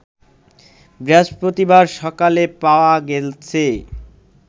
বৃহস্পতিবার সকালে পাওয়া গেছে